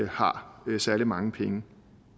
har særlig mange penge